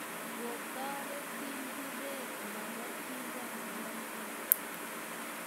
Kotoret tindiret labotikab lemek